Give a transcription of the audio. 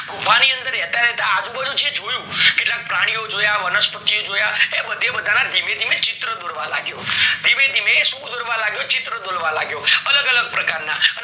ગુફા ની અંદર રેતા રેતા અજુ બાજુ જે જોયું, કેટલા પ્રાણી ઓ જોયા, વનસ્પતિ ઓ જોયા, એ બધે બધા ના ચિત્ર જોવા લાગ્યો, ધીમે ધીમે એ ચિત્ર દોરવા લાગ્યો અલગ અલગ પ્રકારના